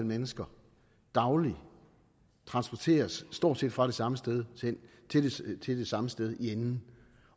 mennesker dagligt transporteres stort set fra det samme sted til det samme sted i enden